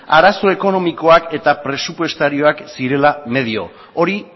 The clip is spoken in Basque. arazo ekonomikoak eta presupuestarioak zirela medio hori